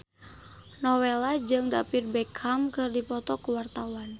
Nowela jeung David Beckham keur dipoto ku wartawan